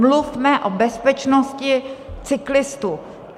Mluvme o bezpečnosti cyklistů.